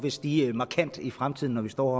vil stige markant i fremtiden når vi står